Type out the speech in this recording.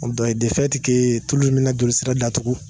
o dɔ ye tulu in bɛ na jolisira datugu..